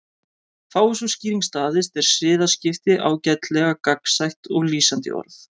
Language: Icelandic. Fái sú skýring staðist er siðaskipti ágætlega gagnsætt og lýsandi orð.